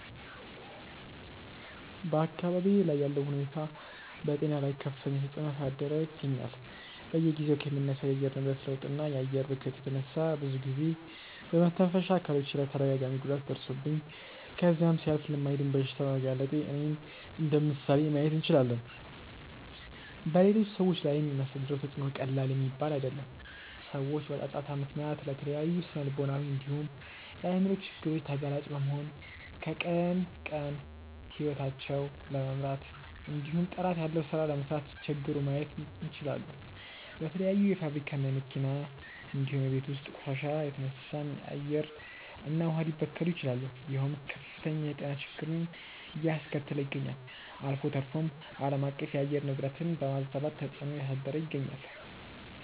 በአካባብዬ ላይ ያለው ሁኔታ በጤና ላይ ከፍተኛ ተፅዕኖ እያሳደረ ይገኛል። በየጊዜው ከሚነሳው የአየር ንብረት ለውጥ እና የአየር ብክለት የተነሳ ብዙ ጊዜ በመተንፈሻ አካሎቼ ላይ ተደጋጋሚ ጉዳት ደርሶብኝ ከዛም ሲያልፍ ለማይድን በሽታ በመጋለጤ እኔን እንደምሳሌ ማየት እንችላለን። በሌሎች ሰዎች ላይም የሚያሳድረው ተፅዕኖ ቀላል የሚባል አይደለም። ሰዎች በጫጫታ ምክንያት ለተለያዩ ስነልቦናዊ እንዲሁም የአይምሮ ችግር ተጋላጭ በመሆን ቀን ከቀን ሂወታቸውን ለመምራት እንዲሁም ጥራት ያለው ሥራ ለመስራት ሲቸገሩ ማየት እንችላለን። በተለያዩ የፋብሪካ እና የመኪና እንዲሁም የቤት ውስጥ ቆሻሻ የተነሳም አየር እና ውሃ ሊበከሉ ይችላሉ ይሄውም ከፍተኛ የጤና ችግርን አያስከተለ ይገኛል። አልፎ ተርፎም አለማቀፍ የአየር ንብረትን በማዛባት ተፅዕኖ እያሳደረ ይገኛል።